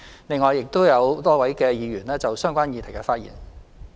另外，亦有多位議員就相關議題發言。